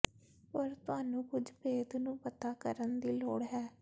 ਪਰ ਤੁਹਾਨੂੰ ਕੁਝ ਭੇਦ ਨੂੰ ਪਤਾ ਕਰਨ ਦੀ ਲੋੜ ਹੈ